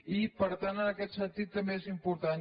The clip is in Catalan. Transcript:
i per tant en aquest sentit també és important